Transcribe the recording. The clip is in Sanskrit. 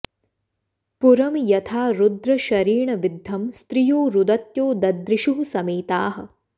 पुरं यथा रुद्रशरेण विद्धं स्त्रियो रुदत्यो ददृशुः समेताः